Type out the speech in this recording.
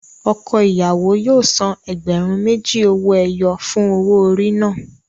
Ọkọ ìyàwó yóò san ẹgbẹ̀rún méjì owó ẹyọ fún owó orí náà.